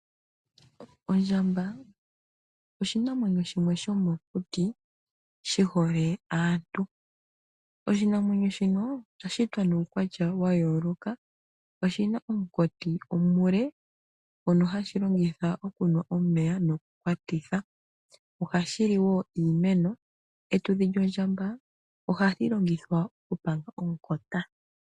Ondjamba oshinamwenyo shimwe shomokuti shi hole aantu. Oshinamwenyo shino osha shitwa nuukwatya wa yooloka oshi na omunkati omule ngono hashi longitha okunwa omeya nokukwatitha. Ohashi li woo iimeno. Epumba lyondjamba ohali longithwa okupanga omukota.